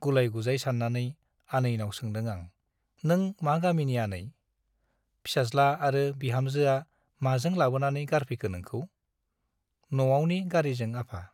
गुलाय- गुजाय सान्नानै आनैनाव सोंदों आं- नों मा गामिनि आनै ? फिसाज्ला आरो बिहामजोआ माजों लाबोनानै गारफैखो नोंखौ ? न' आवनि गारीजों आफा ।